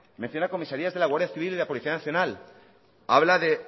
menciona comisarías de la guardia civil y de la policía nacional